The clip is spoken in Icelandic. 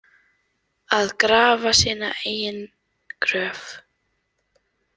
Að grafa sína eigin gröf